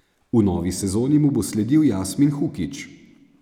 V novi sezoni mu bo sledil Jasmin Hukić.